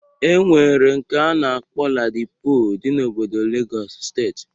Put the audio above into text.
E nwere nke a na-akpọ Ladipo dị n'obodo Legọs steeti